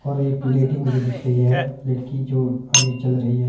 और एक लेडी मुझे दिख रही है लड़की जो अभी चल रही है।